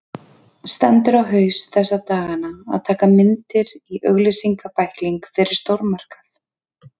Stendur á haus þessa dagana að taka myndir í auglýsingabækling fyrir stórmarkað.